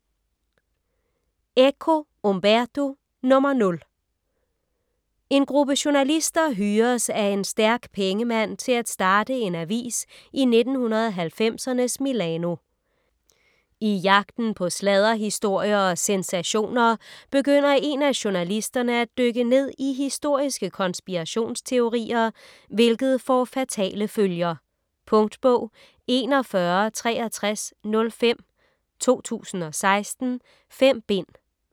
Eco, Umberto: Nr. 0 En gruppe journalister hyres af en stærk pengemand til at starte en avis i 1990'ernes Milano. I jagten på sladderhistorier og sensationer begynder en af journalisterne at dykke ned i historiske konspirationsteorier, hvilket får fatale følger. Punktbog 416305 2016. 5 bind.